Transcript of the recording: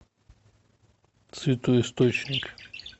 святой источник